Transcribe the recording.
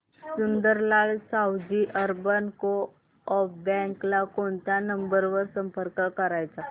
Sundarlal Savji urban co-op bank ला कोणत्या number वर संपर्क करायचा